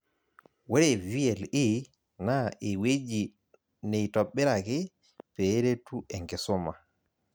Ore VLE na ewueji neitobiraki peeretu enkisuma